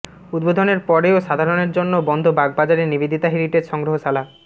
উদ্বোধনের পরেও সাধারণের জন্য বন্ধ বাগবাজারের নিবেদিতা হেরিটেজ সংগ্রহশালা